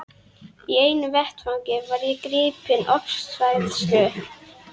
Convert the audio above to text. Í einu vetfangi var ég gripin ofsahræðslu.